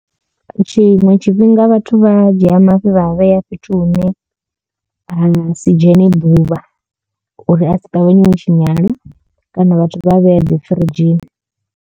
Tshiṅwe tshifhinga vhathu vha dzhia mafhi vha a vhea fhethu hune ha si dzhene ḓuvha uri a si ṱavhanye o tshinyala kana vhathu vha vhea dzi firidzhini.